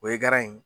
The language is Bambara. O ye garan in ye